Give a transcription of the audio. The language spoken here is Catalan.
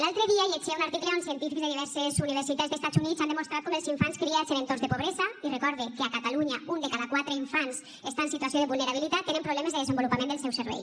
l’altre dia llegia un article on científics de diverses universitats dels estats units han demostrat com els infants criats en entorns de pobresa i recorde que a catalunya un de cada quatre infants està en situació de vulnerabilitat tenen problemes de desenvolupament del seu cervell